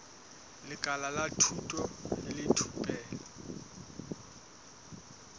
lekala la thuto le thupelo